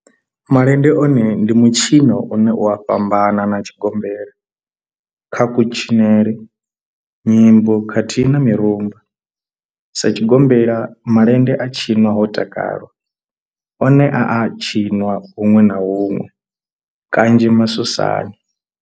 Malende one ndi mitshino une u a fhambana na tshigombela kha kutshinele, nyimbo khathihi na mirumba. Sa tshigombela, malende a tshinwa ho takalwa, one a a tshiniwa hunwe na hunwe kanzhi masosani.